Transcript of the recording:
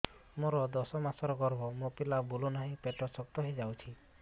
ମୋର ଦଶ ମାସର ଗର୍ଭ ମୋ ପିଲା ବୁଲୁ ନାହିଁ ପେଟ ଶକ୍ତ ହେଇଯାଉଛି